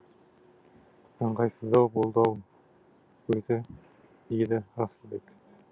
ыңғайсыздау болды ау өзі деді расылбек